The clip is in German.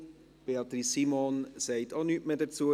Auch Beatrice Simon sagt nichts mehr dazu.